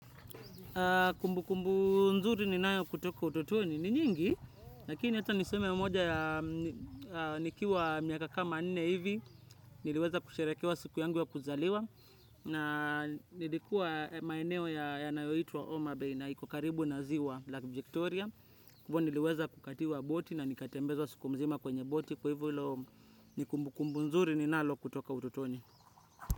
Kumbukumbu nzuri ninayo kutoka utotoni ni nyingi, lakini hata niseme mmoja ya nikiwa miaka kama nne hivi, niliweza kusherekewa siku yangu wa kuzaliwa, na nilikuwa maeneo yanayoitwa Omabei na iko karibu na ziwa la Victoria, hivo niliweza kukatiwa boti na nikatembezwa siku mzima kwenye boti, kwa hivo ilo ni kumbukumbu nzuri ni nayo kutoka utotoni.